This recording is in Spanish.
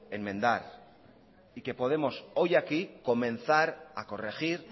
enmendar y que podemos hoy aquí comenzar a corregir